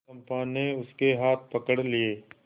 चंपा ने उसके हाथ पकड़ लिए